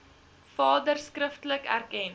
vader skriftelik erken